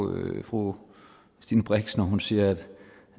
fru stine brix når hun siger